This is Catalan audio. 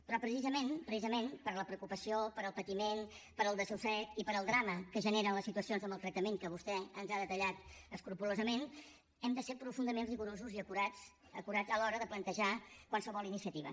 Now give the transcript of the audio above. però precisament precisament per la preocupació pel patiment pel desassossec i pel drama que generen les situacions de maltractament que vostè ens ha detallat escrupolosament hem de ser profundament rigorosos i acurats acurats a l’hora de plantejar qualsevol iniciativa